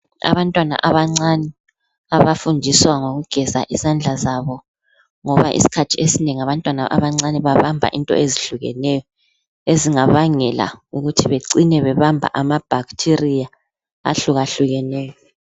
Abantwana abancane abafundiswa ngokugeza izandla zabo ngoba isikhathi esinengi abantwana abancane babamba izinto eziyehlukeneyo ezingabangela ukuthi bacine bebamba amabacteria ahlukahlukeneyo.